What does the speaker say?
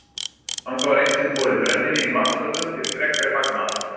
Þangað var eitt sinn borið brennivín í vatnsfötum til frekari fagnaðar.